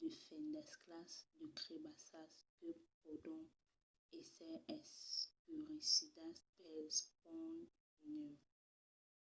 de fendasclas de crebassas que pòdon èsser escuresidas pels ponts de nèu